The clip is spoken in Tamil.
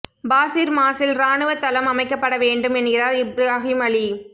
பாசிர் மாஸில் இராணுவத் தளம் அமைக்கப்பட வேண்டும் என்கிறார் இப்ராஹிம் அலி